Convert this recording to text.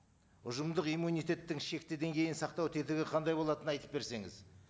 ұжымдық иммунитеттің шектеуден кейін сақтау тетігі қандай болатынын айтып берсеңіз